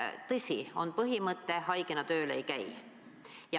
Tõsi, on põhimõte, et haigena tööl ei käida.